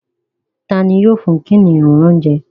Tá ní yóò fún kìnìún ní oúnjẹ?